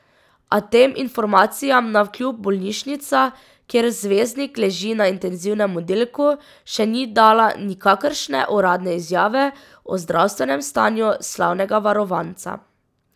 A tem informacijam navkljub bolnišnica, kjer zvezdnik leži na intenzivnem oddelku, še ni dala nikakršne uradne izjave o zdravstvenem stanju slavnega varovanca.